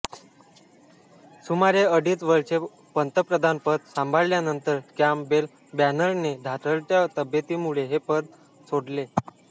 सुमारे अडीच वर्षे पंतप्रधानपद सांभाळल्यानंतर कॅम्पबेलबॅनरमनने ढासळत्या तब्येतीमुळे हे पद सोडले